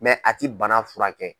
a ti bana furakɛ.